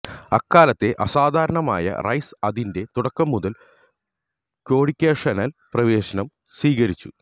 അക്കാലത്തെ അസാധാരണമായ റൈസ് അതിന്റെ തുടക്കം മുതൽ കോഡ്യൂക്കേഷണൽ പ്രവേശനം സ്വീകരിച്ചു